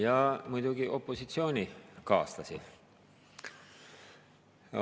Ja muidugi opositsioonikaaslasi.